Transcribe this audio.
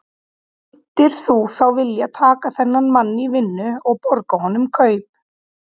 Myndir þú þá vilja taka þennan mann í vinnu og borga honum kaup?